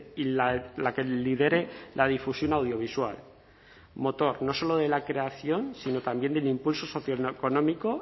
y la que lidere la difusión audiovisual motor no solo de la creación sino también del impulso socioeconómico